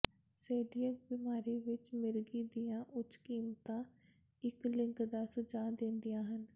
coeliac ਬਿਮਾਰੀ ਵਿੱਚ ਮਿਰਗੀ ਦੀਆਂ ਉੱਚ ਕੀਮਤਾਂ ਇੱਕ ਲਿੰਕ ਦਾ ਸੁਝਾਅ ਦਿੰਦੀਆਂ ਹਨ